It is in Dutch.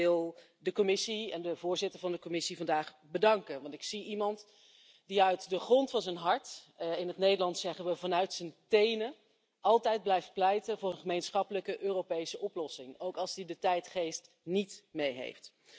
Ik wil de Commissie en de voorzitter van de Commissie vandaag bedanken, want ik zie iemand die uit de grond van zijn hart in het Nederlands zeggen we vanuit zijn tenen altijd blijft pleiten voor een gemeenschappelijke Europese oplossing, ook als hij de tijdgeest niet mee heeft.